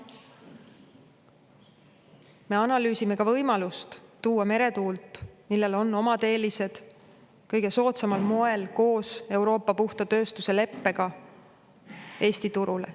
Me analüüsime ka võimalust tuua rohkem meretuult, millel on omad eelised, kõige soodsamal moel, kasutades ka Euroopa puhta tööstuse lepet, Eesti turule.